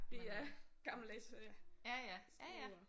Det er gammeldags øh skiur